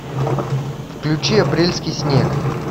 включи апрельский снег